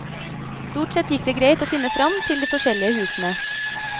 Stort sett gikk det greit å finne fram til de forskjellige husene.